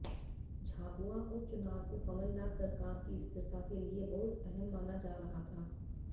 झाबुआ उपचुनाव को कमलनाथ सरकार की स्थिरता के लिये बहुत अहम माना जा रहा था